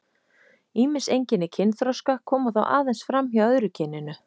Ýmis einkenni kynþroska koma þó aðeins fram hjá öðru kyninu.